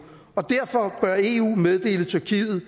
og derfor bør eu meddele tyrkiet